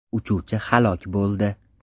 Uchuvchi halok bo‘ldi.